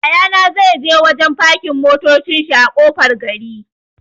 Yaya na zai je wajen fakin motacin shi a ƙofar gari.